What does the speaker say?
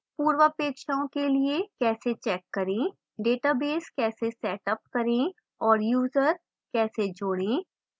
पूर्वापेक्षाओं के लिए कैसे check करें